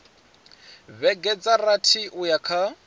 vhege dza rathi uya kha